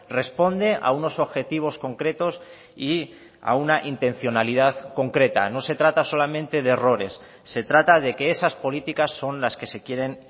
responde a unos objetivos concretos y a una intencionalidad concreta no se trata solamente de errores se trata de que esas políticas son las que se quieren